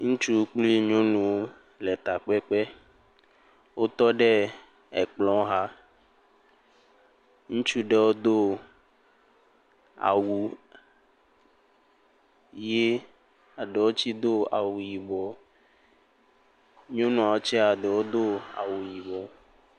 Ŋutsu kple nyɔnuwo le takpekpe. Wotɔ ɖe ekplɔ xa. Ŋutsu ɖewo do awu ʋi. Eɖewo tse do awu yibɔ. Nyɔnua tse eɖewo do awu yibɔ.